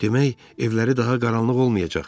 Demək, evləri daha qaranlıq olmayacaq.